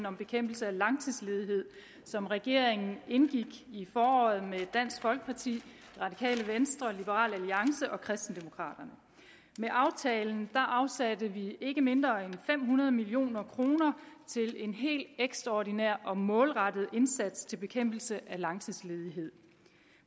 om bekæmpelse af langtidsledighed som regeringen indgik i foråret med dansk folkeparti radikale venstre liberal alliance og kristendemokraterne med aftalen afsatte vi ikke mindre end fem hundrede million kroner til en helt ekstraordinær og målrettet indsats til bekæmpelse af langtidsledighed